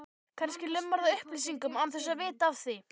Kannski lumarðu á upplýsingum án þess að vita af því.